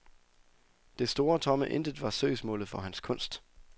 Det store tomme intet var søgsmålet for hans kunst.